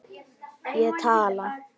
Ég tala.